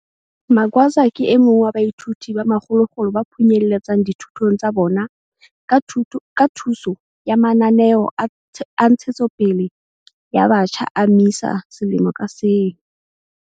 Magwaza ke e mong wa baithuti ba makgolokgolo ba phunyeletsang dithutong tsa bona ka thuso ya mananeo a ntshetsopele ya batjha a MISA selemo ka seng.